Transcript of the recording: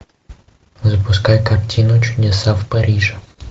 запускай картину чудеса в париже